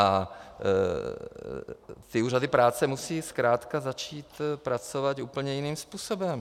A ty úřady práce musí zkrátka začít pracovat úplně jiným způsobem.